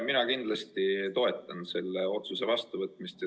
Mina kindlasti toetan selle otsuse vastuvõtmist.